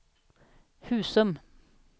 Husum